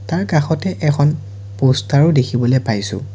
তাৰ কাষতে এখন প'ষ্টাৰো দেখিবলে পাইছোঁ।